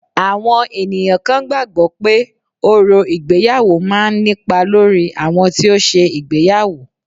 Àwọn ènìyàn kan gbàgbọ́ pé, orò ìgbéyàwó máa ń nípa lórí àwọn tí ó ṣe ìgbéyàwó